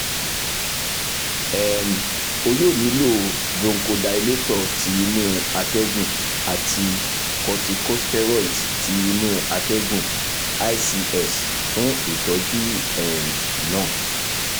um o yoo nilo bronchodilator ti inu atẹgun ati corticosteroids ti inu atẹgun (ics) fun itọju um naa